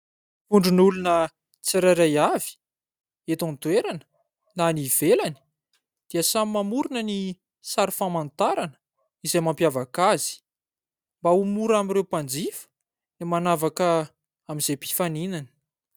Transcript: Vondron'olona tsirairay avy eto an-toerana na an'i ivelany dia samy mamorona ny sary famantarana izay mampiavaka azy, mba ho mora amin'ny ireo mpanjifa ny manavaka izay mpifaninana.